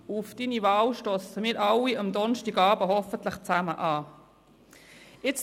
Auf Ihre Wahl werden wir hoffentlich alle am Donnerstagabend zusammen anstossen.